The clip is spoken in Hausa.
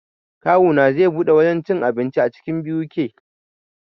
Kawuna zai buɗe wajen cin abinci a cikin BUK